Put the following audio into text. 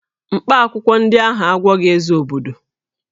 Mkpaakwụkwọ ndị ahụ agwọghị Eze obodo